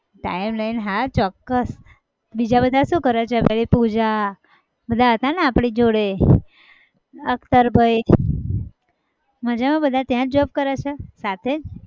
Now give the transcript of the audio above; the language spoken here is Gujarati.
time લઈને હા ચોક્કસ બીજા બધા શું કરે છે? પેલી પૂજા બધા હતા ને આપણી જોડે અખ્તરભાઈ માજામાં બધા ત્યાંજ job કરે છે સાથે જ?